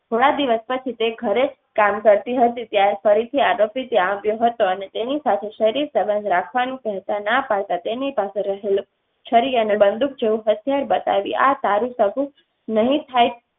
થોડા દિવસ પછી તે ઘરે કામ કરતી હતી, ત્યારે ફરીથી આરોપી ત્યાં આવ્યો હતો. અને તેની સાથે શરીર સંબંધ રાખવાનું કહેતા ના પડતાં તેની પાસે રહેલ છરી અને બંદુક જેવુ હથિયાર બતાવી આ તારી સગું નહિ થાય.